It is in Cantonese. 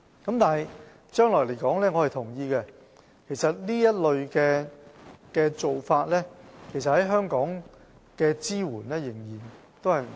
就將來而言，我同意這類做法在香港的支援仍然不足。